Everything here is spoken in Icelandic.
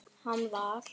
Hann var.